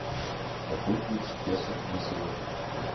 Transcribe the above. какой курс песо на сегодня